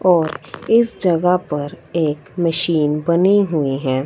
और इस जगह पर एक मशीन बनी हुई हैं।